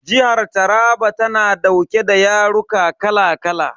Jihar Taraba tana dauke da yaruka kala kala.